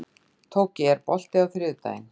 Tóki, er bolti á þriðjudaginn?